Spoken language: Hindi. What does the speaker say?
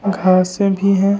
घासे भी हैं।